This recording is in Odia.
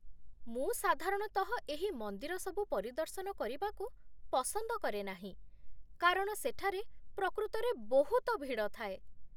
ମୁଁ ସାଧାରଣତଃ ଏହି ମନ୍ଦିର ସବୁ ପରିଦର୍ଶନ କରିବାକୁ ପସନ୍ଦ କରେ ନାହିଁ କାରଣ ସେଠାରେ ପ୍ରକୃତରେ ବହୁତ ଭିଡ଼ ଥାଏ।